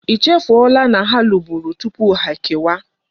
I chefu ola na ha luburu tupu ha eke wa?